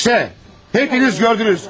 İşte, hepiniz gördünüz.